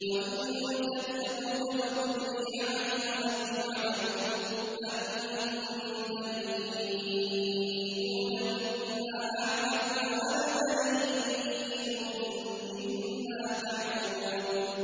وَإِن كَذَّبُوكَ فَقُل لِّي عَمَلِي وَلَكُمْ عَمَلُكُمْ ۖ أَنتُم بَرِيئُونَ مِمَّا أَعْمَلُ وَأَنَا بَرِيءٌ مِّمَّا تَعْمَلُونَ